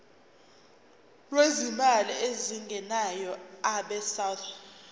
lwezimali ezingenayo abesouth